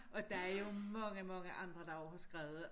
Og der er jo mange mange andre der også har skrevet